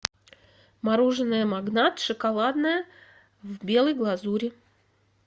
мороженое магнат шоколадное в белой глазури